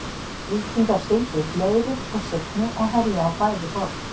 Víkingar sigldu upp Leiru og Signu og herjuðu á bæði borð.